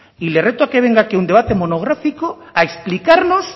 y le reto a que venga aquí a un debate monográfico a explicarnos